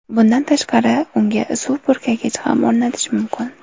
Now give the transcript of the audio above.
Bundan tashqari, unga suv purkagich ham o‘rnatish mumkin.